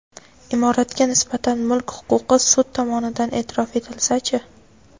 Imoratga nisbatan mulk huquqi sud tomonidan eʼtirof etilsa-chi?.